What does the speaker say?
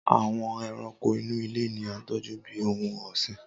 Awọn ẹranko inu ile ni a tọju bi ohun ọsin.